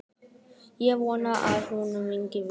Ég vona að honum gangi vel.